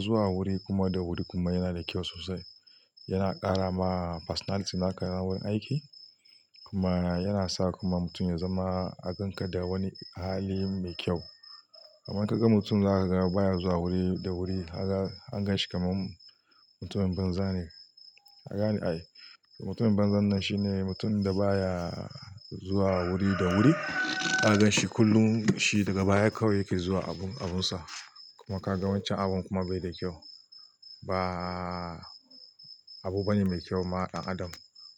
zuwa wuri kuma da wuri kuma yana da kyau sosai. Yana ƙara ma personality naka na gurin aiki kuma yana sa kuma mutum ya zama a ganka da wani hali mai kyau. Amma ka ga mutum za ka ga baya zuwa wuri da wuri kaga an ganshi kamar mutumin banza ne. Ka gane ni? Ai. Mutumin banzan nan shine mutumin da baya zuwa wuri da wuri. Za kagan shi kullum shi daga baya kawai yake zuwa abunsa. Kuma ka ga wancan abun kuma bai da kyau. Ba abu bane mai kyau ma ga ɗan adam.